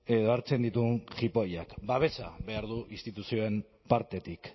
edo hartzen dituen jipoiak babesa behar du instituzioen partetik